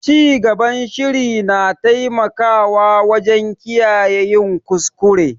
Cigaban shiri na taimakawa wajen kiyaye yin kuskure.